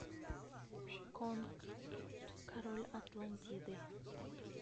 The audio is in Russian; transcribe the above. конг король атлантиды